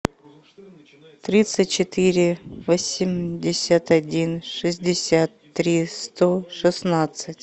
тридцать четыре восемьдесят один шестьдесят три сто шестнадцать